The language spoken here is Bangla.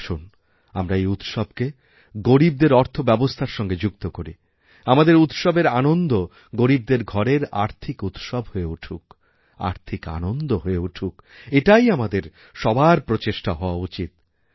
আসুন আমরা এই উৎসবকে গরীবদের অর্থব্যবস্থার সঙ্গেযুক্ত করি আমাদের উৎসবের আনন্দ গরীবদের ঘরের আর্থিক উৎসব হয়ে উঠুক আর্থিক আনন্দহয়ে উঠুক এটাই আমাদের সবার প্রচেষ্টা হওয়া উচিৎ